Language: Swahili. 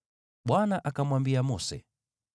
Bwana akamwambia Mose,